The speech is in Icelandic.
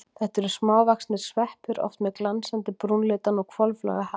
Þetta eru smávaxnir sveppir, oft með glansandi brúnleitan og hvolflaga hatt.